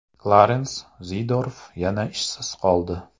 Klarens Zeedorf yana ishsiz qoldi.